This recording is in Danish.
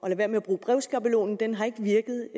være med at bruge brevskabelonen den har ikke virket